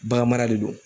Bagan mara de do